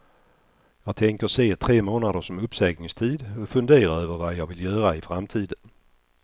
Jag tänker se tre månader som uppsägningstid och fundera över vad jag vill göra i framtiden.